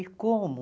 E como?